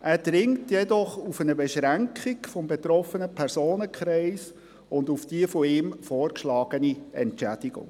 Er drängt jedoch auf eine Beschränkung des betroffenen Personenkreises und auf die von ihm vorgeschlagene Entschädigung.